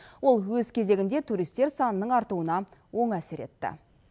ол өз кезегінде туристер санының артуына оң әсер етті